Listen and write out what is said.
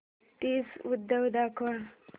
तीज उत्सव दाखव